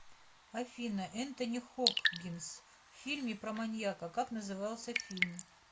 афина энтони хокгинс в фильме про маньяка как назывался фильм